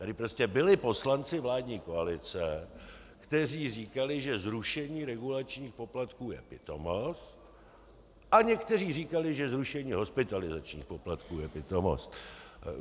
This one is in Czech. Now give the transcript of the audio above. Tady prostě byli poslanci vládní koalice, kteří říkali, že zrušení regulačních poplatků je pitomost, a někteří říkali, že zrušení hospitalizačních poplatků je pitomost.